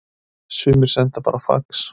Sumir sendu bara fax